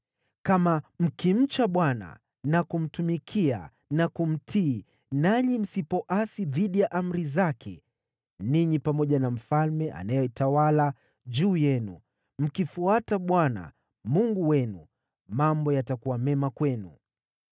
Kama mkimcha Bwana na kumtumikia na kumtii nanyi msipoasi dhidi ya amri zake, ninyi pamoja na mfalme anayetawala juu yenu mkimfuata Bwana , Mungu wenu, mambo yatakuwa mema kwenu!